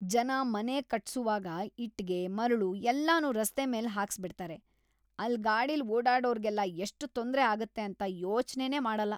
ಜನ ಮನೆ ಕಟ್ಸುವಾಗ ಇಟ್ಗೆ, ಮರಳು ಎಲ್ಲನೂ ರಸ್ತೆ ಮೇಲ್‌ ಹಾಕಿಸ್ಬಿಡ್ತಾರೆ,‌ ಅಲ್ಲ್ ಗಾಡಿಲ್ ಓಡಾಡೋರ್ಗೆಲ್ಲ ಎಷ್ಟ್‌ ತೊಂದ್ರೆ‌ ಆಗತ್ತೆ ಅಂತ ಯೋಚ್ನೆನೇ ಮಾಡಲ್ಲ.